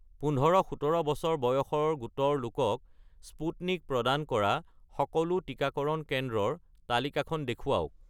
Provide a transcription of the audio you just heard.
১৫-১৭ বছৰ বয়সৰ গোটৰ লোকক স্পুটনিক প্ৰদান কৰা সকলো টিকাকৰণ কেন্দ্ৰৰ তালিকাখন দেখুৱাওক